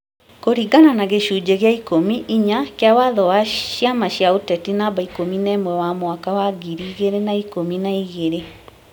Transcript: kũringana na gĩcunjĩ gĩa 10 (4) kĩa watho wa ciama cia ũteti No 11 wa mwaka wa ngiri igĩrĩ na ikũmi na igĩrĩ ,